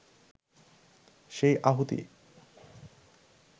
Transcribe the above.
সেই আহুতি